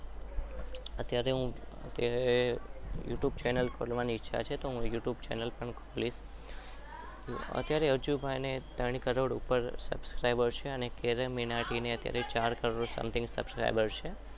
ત્યારે YouTube channel પણ ખોલી. અત્યારે અજ્જુ ભાઈ